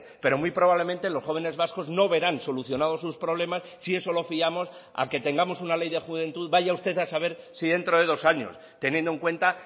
pero muy probablemente los jóvenes vascos no verán solucionados sus problemas si eso lo fiamos a que tengamos una ley de juventud vaya usted a saber si dentro de dos años teniendo en cuenta